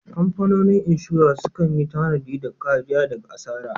Kamfanonin inshora sukan yi tanadi da kariya daga asara.